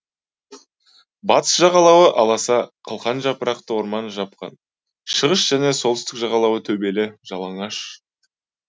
батыс жағалауы аласа қылқан жапырақты орман жапқан шығыс және солтүстік жағалауы төбелі жалаңаш